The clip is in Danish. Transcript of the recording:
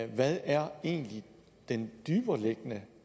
hvad er egentlig den dybereliggende